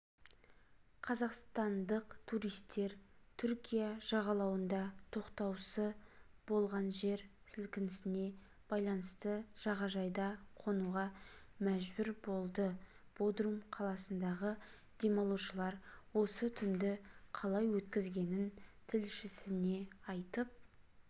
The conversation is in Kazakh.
қазақстандық туристер түркия жағалауында тоқтаусы болғанжер сілкінісіне байланысты жағажайда қонуға мәжбүр болды бодрум қаласындағы демалушылар осы түнді қалай өткізгенін тілшісіне айтып